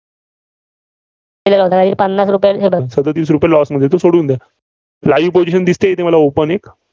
पन्नास रुपये सदतीस रुपये loss मध्ये ते सोडून द्या. live position दिसतेय इथे मला open एक